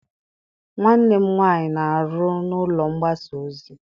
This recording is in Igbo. Nwanne m nwaanyị na-aru n'ụlọ mgbasa ozi.